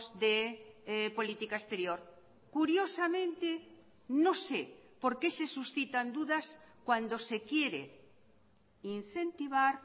de política exterior curiosamente no sé por qué se suscitan dudas cuando se quiere incentivar